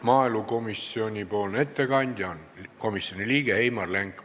Maaelukomisjoni ettekandja on komisjoni liige Heimar Lenk.